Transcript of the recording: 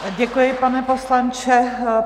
Děkuji, pane poslanče.